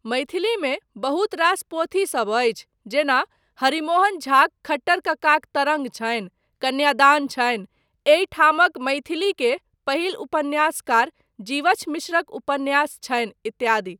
मैथिलीमे बहुत रास पोथीसब अछि जेना हरिमोहन झाक खट्टर कक्काक तरङ्ग छनि, कन्यादान छनि, एहिठामक मैथिलीके पहिल उपन्यासकार जीवछ मिश्रक उपन्यास छनि इत्यादि।